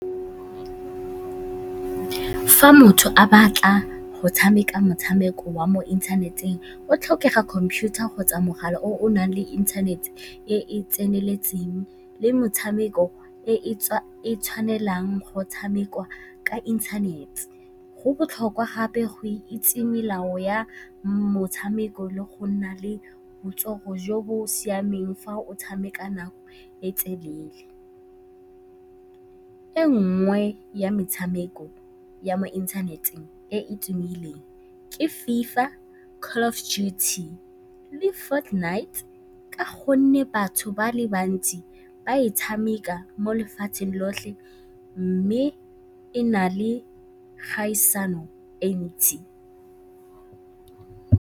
Fa motho a batla go tshameka motshameko wa mo inthaneteng, o tlhokega computer kgotsa mogala o o nang le inthanete e e tseneletseng le metshameko e e tshwanelang go tshamekwa ka inthanete. Go botlhokwa gape go itse melao ya motshameko le go nna le botsogo jo bo siameng fa o tshameka nako e e telele. E nngwe ya metshameko ya mo inthaneteng e e tumileng ke FIFA, Call of Duty le Ford Knight ka gonne batho ba le bantsi ba e tshameka mo lefatsheng lotlhe mme e na le kgaisano e e ntsi.